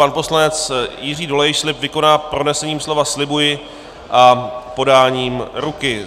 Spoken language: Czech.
Pan poslanec Jiří Dolejš slib vykoná pronesením slova "slibuji" a podáním ruky.